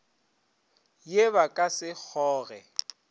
ye ba ka se kgoge